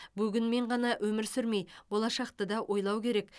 бүгінмен ғана өмір сүрмей болашақты да ойлау керек